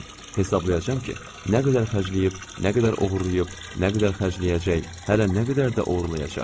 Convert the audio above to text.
Hesablayacam ki, nə qədər xərcləyib, nə qədər oğurlayıb, nə qədər xərcləyəcək, hələ nə qədər də oğurlayacaq.